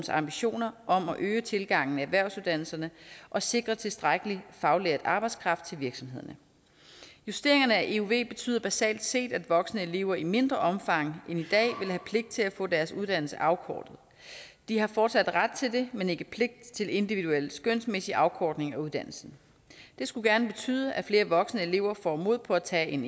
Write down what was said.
ambitioner om at øge tilgangen til erhvervsuddannelserne og sikre tilstrækkelig faglært arbejdskraft til virksomhederne justeringerne af euv betyder basalt set at voksne elever i mindre omfang end i dag vil have pligt til at få deres uddannelse afkortet de har fortsat ret til det men ikke pligt til individuelle skønsmæssige afkortninger af uddannelsen det skulle gerne betyde at flere voksne elever får mod på at tage en